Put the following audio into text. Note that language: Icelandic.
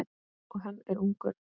Og hann er ungur.